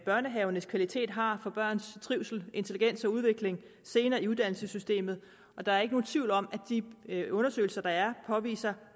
børnehavernes kvalitet har for børns trivsel intelligens og udvikling senere i uddannelsessystemet der er ikke nogen tvivl om at de undersøgelser der er påviser